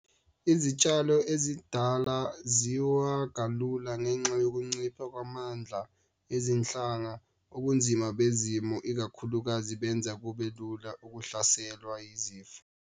Izitshalo ezindala ziwa kalula ngenxa yokuncipha kwamandla ezinhlanga. Ubunzima bezimo ikakhulukazi benza kube lula ukuhlaselwa yizifo.